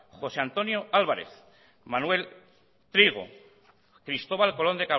josé antonio álvarez manuel trigo cristóbal colón